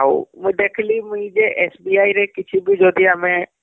ଆଉ ଦେଖ ଲି ମୁଇଁ ଯେ SBI ରେ କିଛି ବି ଯଦି ଆମେ